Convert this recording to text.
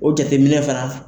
O jateminɛ fana.